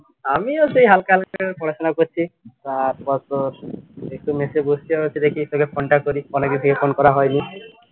আমিও সেই হালকা হালকা পড়াশুনা করছি। বসছি দেখি তোকে phone টা করি, phone করা হয়নি